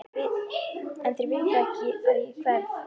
En þeir vita ekki að ég hverf.